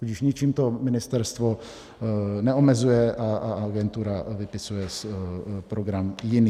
Tudíž ničím to ministerstvo neomezuje a agentura vypisuje program jiný.